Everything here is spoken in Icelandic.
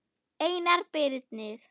Einar Birnir.